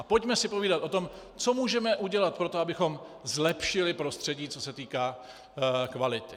A pojďme si povídat o tom, co můžeme udělat pro to, abychom zlepšili prostředí, co se týká kvality.